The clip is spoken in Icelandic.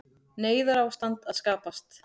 Neyðarástand að skapast